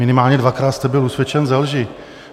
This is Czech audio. Minimálně dvakrát jste byl usvědčen ze lži.